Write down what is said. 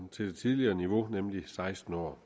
til det tidligere niveau nemlig seksten år